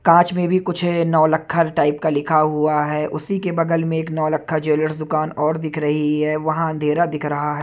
कांच में भी कुछ है नौलखा टाइप का लिखा हुआ है उसी के बगल में नौलखा ज्वेलर्स दुकान और दिख रही है वहाँ अंधेरा दिख रहा है।